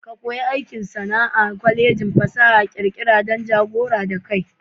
Ka ko yi aikin sana'a a Kwalejin fasaha da ƙirƙira dan dogaro da kai.